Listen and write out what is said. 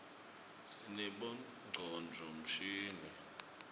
sinabonqcondvo mshini